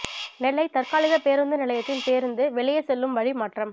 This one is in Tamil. நெல்லை தற்காலிக பேருந்து நிலையத்தின் பேருந்து வெளியே செல்லும் வழி மாற்றம்